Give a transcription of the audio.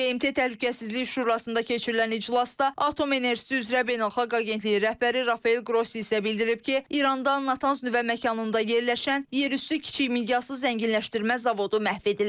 BMT Təhlükəsizlik Şurasında keçirilən iclasda Atom Enerjisi üzrə Beynəlxalq Agentliyi rəhbəri Rafael Qrossi isə bildirib ki, İrandan Natanz nüvə məkanında yerləşən yerüstü kiçik miqyaslı zənginləşdirmə zavodu məhv edilib.